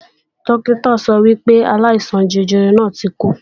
Dókítà sọ wípé aláìsàn jẹjẹrẹ náà ti kú